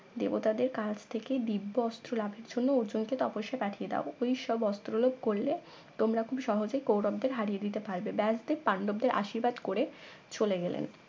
দেবতাদের কাছ থেকে দিব্য অস্ত্র লাভের জন্য অর্জুনকে তপস্যা পাঠিয়ে দাও ওই সব অস্ত্রলাভ করলে তোমরা খুব সহজে কৌরবদের হারিয়ে দিতে পারবে ব্যাসদেব পান্ডবদের আশির্বাদ করলেন চলে গেলেন